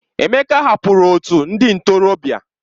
Emeka hapụrụ otu ndị ntorobịa.